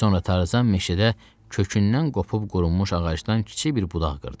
Sonra Tarzan meşədə kökündən qopub qurumuş ağacdan kiçik bir budaq qırdı.